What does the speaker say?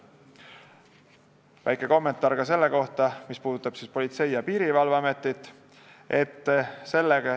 Ta andis väikese kommentaari ka selle kohta, mis puudutab Politsei- ja Piirivalveametit.